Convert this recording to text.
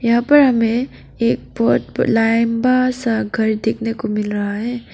यहां पर हमें एक बहुत लंबा सा घर देखने को मिल रहा है।